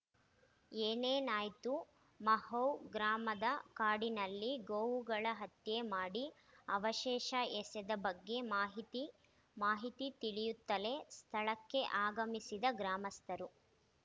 ಏನೇನಾಯ್ತು ಮಹೌ ಗ್ರಾಮದ ಕಾಡಿನಲ್ಲಿ ಗೋವುಗಳ ಹತ್ಯೆ ಮಾಡಿ ಅವಶೇಷ ಎಸೆದ ಬಗ್ಗೆ ಮಾಹಿತಿ ಮಾಹಿತಿ ತಿಳಿಯುತ್ತಲೇ ಸ್ಥಳಕ್ಕೆ ಆಗಮಿಸಿದ ಗ್ರಾಮಸ್ಥರು